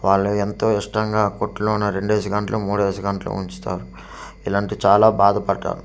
వాళ్ళు ఎంతో ఇష్టంగా కొట్లోన రెండేసి గంటలు మూడేసి గంటలు ఉంచుతారు ఇలాంటి చాలా బాధపడ్డాను.